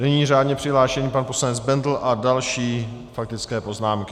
Nyní řádně přihlášený pan poslanec Bendl a další faktické poznámky.